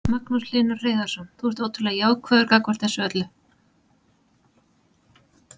Magnús Hlynur Hreiðarsson: Þú ert ótrúlega jákvæður gagnvart þessu öllu?